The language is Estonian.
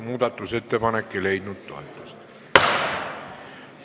Muudatusettepanek ei leidnud toetust.